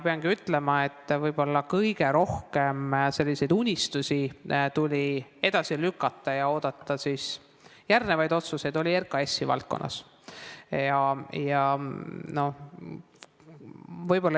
Peangi ütlema, et võib-olla kõige rohkem unistusi tuli edasi lükata ja oodata järgnevaid otsuseid RKAS-i valdkonnas.